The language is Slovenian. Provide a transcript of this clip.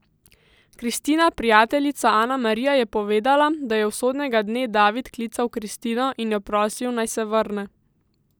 Kristina prijateljica Anamarija je povedala, da je usodnega dne David klical Kristino in jo prosil, naj se vrne.